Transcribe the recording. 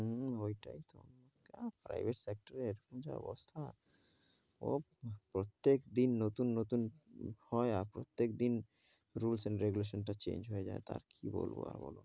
হম ঐটাই তো, private sector এ এখন যা অবস্থা প্রত্যেক দিন নুতুন নুতুন ভয়, আর প্রত্যেক দিন rules and regulation টা change হয়ে যাই, তা আর কি বলবো,